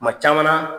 Kuma caman na